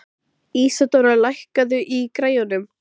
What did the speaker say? Hann fann til með bakarameistaranum þótt hann styddi Breta heilshugar.